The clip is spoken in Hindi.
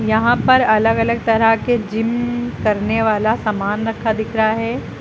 यहां पर अलग अलग तरह के जिम करने वाला सामान रखा दिख रहा है।